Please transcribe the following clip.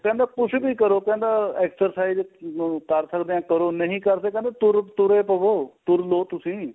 ਕਹਿੰਦਾ ਕੁੱਝ ਵੀ ਕਰੋ ਕਹਿੰਦਾ exercise ਕਰ ਸਕਦੇ ਆ ਕਰੋ ਨਹੀਂ ਕਰ ਸਕਦੇ ਕਹਿੰਦਾ ਤੁਰੇ ਤੁਰ ਈ ਪਵੋ ਤੁਰ ਲੋ ਤੁਸੀਂ